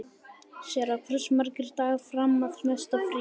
Sera, hversu margir dagar fram að næsta fríi?